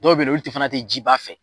Dɔw be yen nɔn, olu tɛ fana tɛ jiba fɛ.